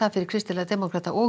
fyrir kristilega demókrata og